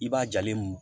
I b'a jalen